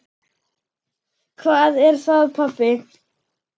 Hvað er það, pabbi?